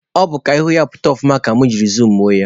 Ọ bụ ka ihu ya pụta ọfụma ka mụ jiri zumuo ya